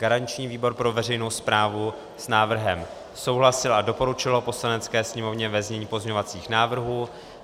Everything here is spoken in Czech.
Garanční výbor pro veřejnou správu s návrhem souhlasil a doporučil ho Poslanecké sněmovně ve znění pozměňovacích návrhů.